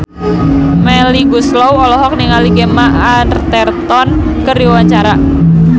Melly Goeslaw olohok ningali Gemma Arterton keur diwawancara